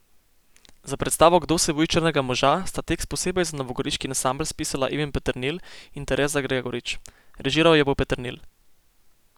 Za predstavo Kdo se boji črnega moža sta tekst posebej za novogoriški ansambel spisala Ivan Peternelj in Tereza Gregorič, režiral jo bo Peternelj.